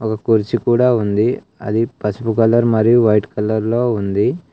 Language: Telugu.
ఒక కుర్చీ కూడా ఉంది అది పసుపు కలర్ మరియు వైట్ కలర్ లో ఉంది.